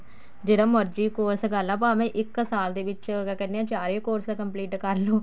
ਜਿਹੜਾ ਮਰਜ਼ੀ course ਕਰਲਾ ਭਾਵੇਂ ਇੱਕ ਸਾਲ ਦੇ ਵਿੱਚ ਮੈਂ ਤਾਂ ਕਹਿਣੀ ਹਾਂ ਚਾਰੇ course complete ਕਰਲੋ